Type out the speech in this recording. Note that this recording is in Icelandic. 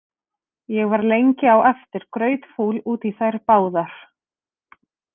Ég var lengi á eftir grautfúl út í þær báðar.